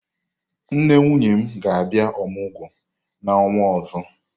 Nne nwunye m ga-abia omugwo n'onwa ozo.